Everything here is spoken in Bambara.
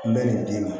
N bɛ nin den min